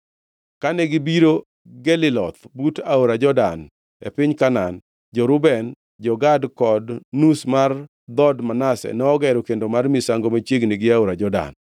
Kane gibiro Geliloth but aora Jordan e piny Kanaan, jo-Reuben, jo-Gad kod nus mar dhood Manase nogero kendo mar misango machiegni gi aora Jordan.